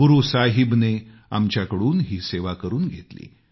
गुरू साहिबने आमच्याकडून ही सेवा करून घेतली